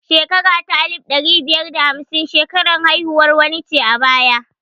Shekara ta alif ɗari biyar da hamsin shekarar haihuwar wani ce a baya